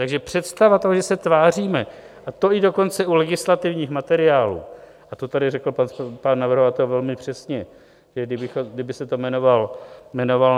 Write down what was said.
Takže představa toho, že se tváříme, a to i dokonce u legislativních materiálů, a to tady řekl pan navrhovatel velmi přesně, kdyby se to jmenovalo